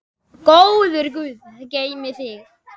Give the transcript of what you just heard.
Góður Guð geymi þig.